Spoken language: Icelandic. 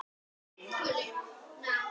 Elsku bestu afi.